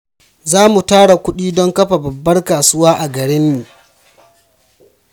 Za mu tara kudi don kafa babbar kasuwa a garinmu.